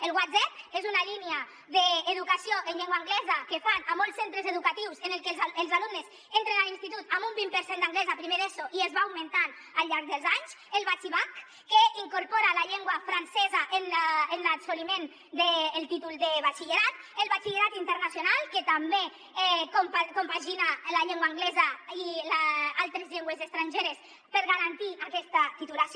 el whatsep és una línia d’educació en llengua anglesa que fan a molts centres educatius en què els alumnes entren a l’institut amb un vint per cent d’anglès a primer d’eso i es va augmentant al llarg dels anys el batxibac que incorpora la llengua francesa en l’assoliment del títol de batxillerat el batxillerat internacional que també compagina la llengua anglesa i altres llengües estrangeres per garantir aquesta titulació